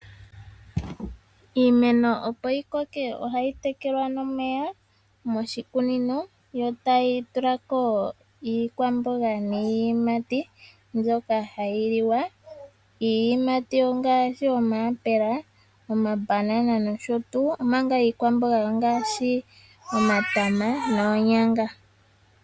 Iimeno opo yi koke ohayi tekelwa nomeya moshikunino yo tayi tulako iikwamboga niiyimati mbyoka hayiliwa. Iiyimati ongaashi omayapela, omabana nosho tuu, omanga iikwamboga ongaashi omatama noonyanga.